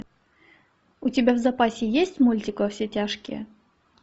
у тебя в запасе есть мультик во все тяжкие